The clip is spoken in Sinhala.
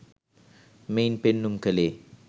මෙයින් පෙන්නුම් කළේ